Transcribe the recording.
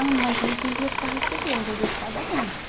Ah, mas eu não tenho dinheiro para receber, hoje é dia de pagamento.